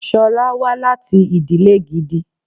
Sọ́lá wá láti ìdílè gidi.